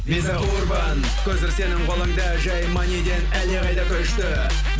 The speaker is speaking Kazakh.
виза урбан көзір сенің қолында жай маниден әлдеқайда күшті